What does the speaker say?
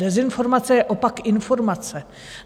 Dezinformace je opak informace.